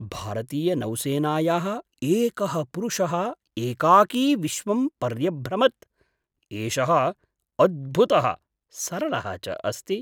भारतीयनौसेनायाः एकः पुरुषः एकाकी विश्वं पर्यभ्रमत्, एषः अद्भुतः, सरलः च अस्ति!